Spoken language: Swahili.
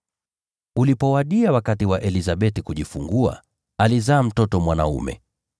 Ulipowadia wakati wa Elizabeti kujifungua, alizaa mtoto mwanaume.